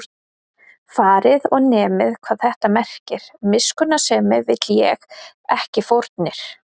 Farið og nemið, hvað þetta merkir: Miskunnsemi vil ég, ekki fórnir